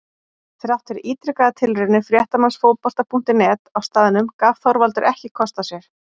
Þrátt fyrir ítrekaðar tilraunir fréttamanns Fótbolta.net á staðnum gaf Þorvaldur ekki kost á sér.